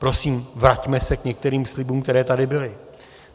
Prosím, vraťme se k některým slibům, které tady byly.